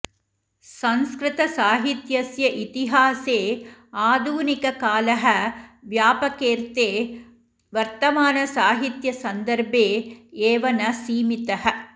संस्कृतसाहित्यस्य इतिहासे आधुनिककालः व्यापकेऽर्थे वर्तमानसाहित्यसन्दर्भे एव न सीमितः